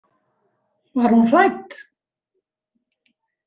Var hún hrædd?